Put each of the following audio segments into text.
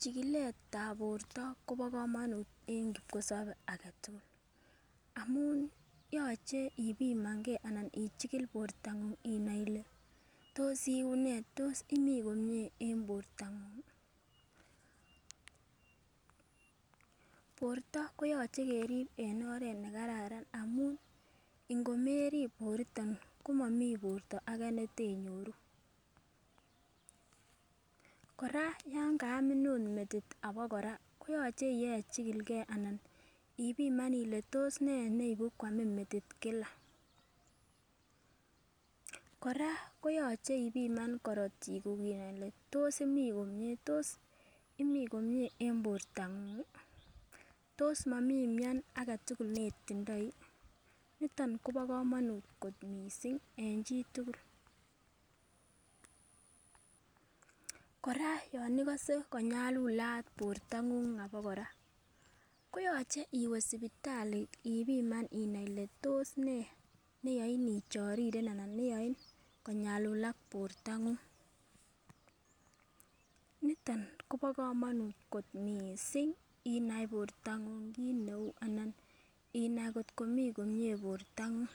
Chikiletab borto Kobo komonut en kipkosobe agetukul amun yoche ipimangee ichikil bortonguny inai ele tos iunee tos imii komie en bortangungi. Borto koyoche kerib en oret nekararan aun ngomerib borto komomii borto age netenyoru. Koraa yon kamin ot metit abakoraa koyoche ibechikilgee ipiman Ile tos nee neibu kwamin metit kila, Koraa koyoche ipiman korotik kuk inai Ile tos imii komie tos imii komie en bortangungi, tos momii mion agetukul netindoi niton Kobo komonut kot missing en chitukul. Koraa yon ikose konyalulat bortonguny abakoraa koyoche iwee sipitali ipiman inai Ile tos nee neyoin ichoriren anan neyoin konyalulat bortangu. Niton Kobo komonut missing inai bortangu kit neu anan inai kotko mii komie bortonguny.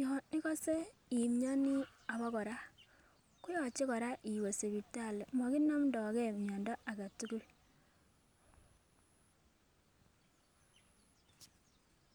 Yon ikose imionii abakora koyoche Koraa iwee sipitali mokinomdogee miondo agetukul.